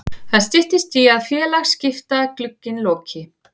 Það styttist í að félagaskiptaglugginn loki.